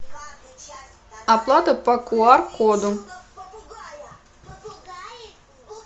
оплата по кьюар коду